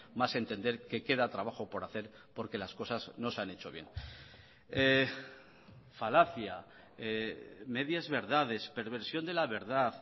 más entender que queda trabajo por hacer porque las cosas no se han hecho bien falacia medias verdades perversión de la verdad